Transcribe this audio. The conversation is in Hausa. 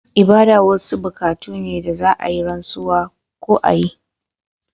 Ibada wasu bukatu ne da za a yi rantsuwa ko a yi